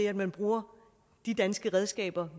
at man bruger de danske redskaber